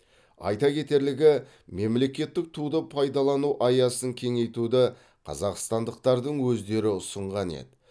айта кетерлігі мемлекеттік туды пайдалану аясын кеңейтуді қазақстандықтардың өздері ұсынған еді